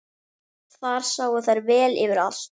Þar sáu þær vel yfir allt.